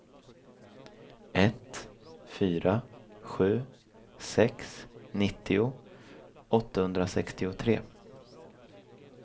ett fyra sju sex nittio åttahundrasextiotre